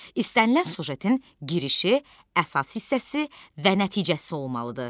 İstənilən süjetin girişi, əsas hissəsi və nəticəsi olmalıdır.